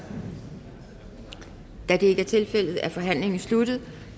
da det ikke er tilfældet er forhandlingen sluttet